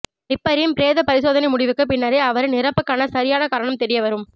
நிப்பரின் பிரேத பரிசோதனை முடிவுக்கு பின்னரே அவரின் இறப்புக்கான சரியான காரணம் தெரியவரும்